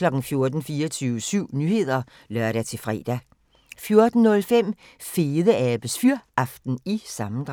14:00: 24syv Nyheder (lør-fre) 14:05: Fedeabes Fyraften – sammendrag